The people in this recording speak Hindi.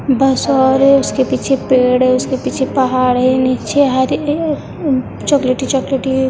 बस और उसके पीछे पेड़ है उसके पीछे पहाड़ है नीचे हरे चॉकलेटी चॉकलेटी --